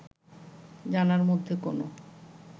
জানার মধ্যে কোনো